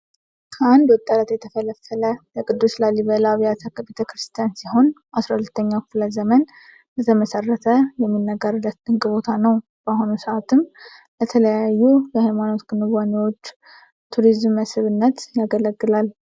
ከአንድ ወጥ አለት የተፈለፈለ የቅዱስ ላሊበላ አብያተ ቤተክርስቲያን ሲሆን 12ኛው ክፍለ ዘመን እንደተመሰረተ የሚነገርለት ድንቅ ቦታ ነው። በአሁኑ ሰአትም ለተለያዩ የሃይማኖት ክዋኔዎችና ቱሪዝም መስህብነት ያገለግላል።